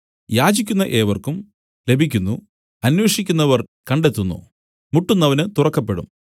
യാചിക്കുന്ന ഏവർക്കും ലഭിക്കുന്നു അന്വേഷിക്കുന്നവർ കണ്ടെത്തുന്നു മുട്ടുന്നവനു തുറക്കപ്പെടും